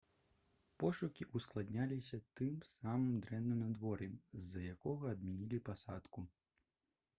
пошукі ўскладняліся тым самым дрэнным надвор'ем з-за якога адмянілі пасадку